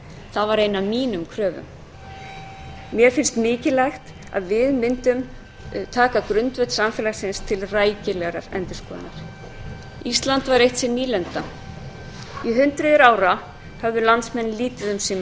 það var ein af mínum kröfum mér fannst mikilvægt að við mundum taka grundvöll samfélagsins til rækilegrar endurskoðunar ísland var eitt sinn nýlenda í hundruð ára höfðu landsmenn lítið um sín mál